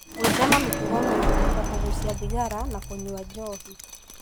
Gwĩthema mĩtugo mĩũru ta kũgucia thigara na kũnyua njohi.